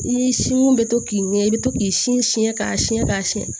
I sin mun be to k'i ɲɛ i bɛ to k'i sin si k'a siɲɛ k'a siyɛn